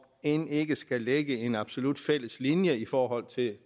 end vi ikke skal lægge en absolut fælles linje i forhold til